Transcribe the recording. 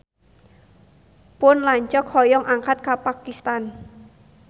Pun lanceuk hoyong angkat ka Pakistan